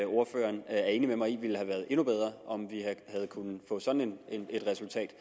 ordføreren er enig med mig i at det ville have været endnu bedre om vi havde kunnet få sådan et resultat